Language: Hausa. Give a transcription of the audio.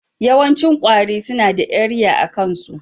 Yawancin kwari suna da eriya a kain' su.